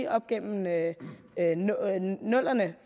op igennem nullerne